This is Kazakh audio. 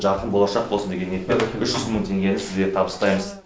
жарқын болашақ болсын деген ниетпен үш жүз мың теңгені сізге табыстаймыз